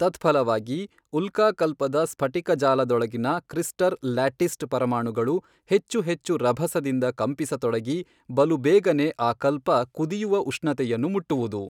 ತತ್ಫಲವಾಗಿ ಉಲ್ಕಾಕಲ್ಪದ ಸ್ಫಟಿಕಜಾಲದೊಳಗಿನ crystal lattice ಪರಮಾಣುಗಳು ಹೆಚ್ಚು ಹೆಚ್ಚು ರಭಸದಿಂದ ಕಂಪಿಸತೊಡಗಿ ಬಲುಬೇಗನೆ ಆ ಕಲ್ಪ ಕುದಿಯುವ ಉಷ್ಣತೆಯನ್ನು ಮುಟ್ಟುವುದು.